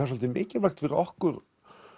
svolítið mikilvægt fyrir okkur